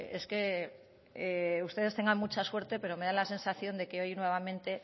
es que ustedes tengan mucha suerte pero me da la sensación de que hoy nuevamente